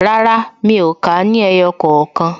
Rárá, mi ò kà á ní ẹyọ kookan